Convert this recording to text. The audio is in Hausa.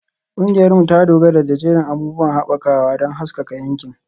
Ƙungiyarmu ta dogara da jerin abubuwan haɓakawa don haskaka yankin.